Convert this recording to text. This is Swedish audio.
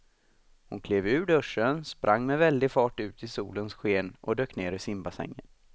Hon klev ur duschen, sprang med väldig fart ut i solens sken och dök ner i simbassängen.